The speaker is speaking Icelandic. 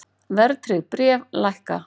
Verðtryggð bréf lækka